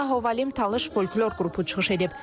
Sonra Hovalim Talış folklor qrupu çıxış edib.